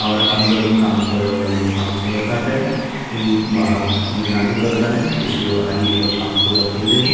और अंदर काम करे वाला लोग काम करअटाटे इ बाहर निगरानी कर ताने कुछ लोग आई ओकर काम पूरा कइलजाइ।